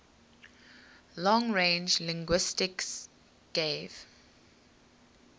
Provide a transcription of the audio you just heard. long range linguistics gave